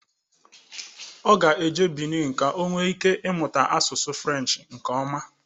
Ọ ga-eje Benin ka o nwee ike ịmụta asụsụ French nke ọma